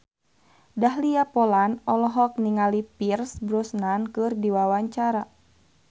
Dahlia Poland olohok ningali Pierce Brosnan keur diwawancara